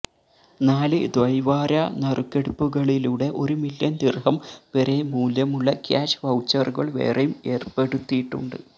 നാല് ദ്വൈവാര നറുക്കെടുപ്പുകളിലൂടെ ഒരു മില്യന് ദിര്ഹം വരെ മൂല്യമുള്ള ക്യാഷ് വൌച്ചറുകള് വേറെയും ഏര്പ്പെടുത്തിയിട്ടുണ്ട്